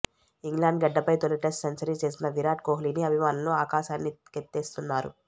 England గడ్డపై తొలి test century చేసిన విరాట్ కొహ్లీని అభిమానులు ఆకాశానికెత్తేస్తున్నారు